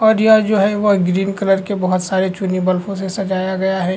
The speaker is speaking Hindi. और यह जो है वह ग्रीन कलर के बहोत सारे से सजाया गया है।